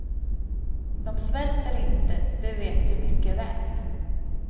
De svälter inte, det vet du mycket väl.